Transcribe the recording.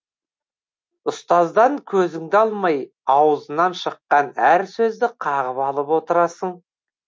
ұстаздан көзіңді алмай аузынан шыққан әр сөзді қағып алып отырасың